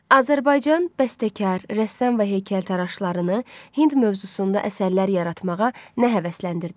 Azərbaycan bəstəkar, rəssam və heykəltaraşlarını Hind mövzusunda əsərlər yaratmağa nə həvəsləndirdi?